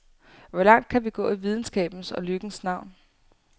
Hvor langt kan vi gå i videnskabens og lykkens navn?